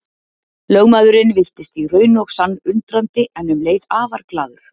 Lögmaðurinn virtist í raun og sann undrandi en um leið afar glaður.